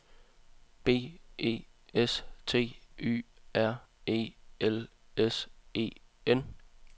B E S T Y R E L S E N